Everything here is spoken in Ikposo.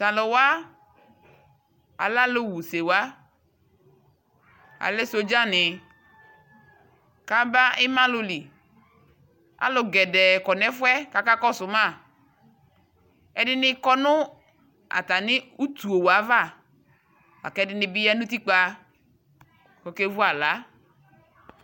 Taluwa alɛ alu wusiwa Alɛ sɔdzani Ku aba imaluli Alu poo kɔ nu ɛfu yɛ ku akakɔsu ma Ɛdini kɔ nu atani utuwa ava La ku ɛdini bi ya nu utikpa ku akevu aɣla